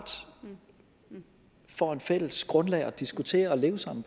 får et fælles grundlag at diskutere og leve sammen